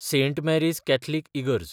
Saint Mary's Catholic इगर्ज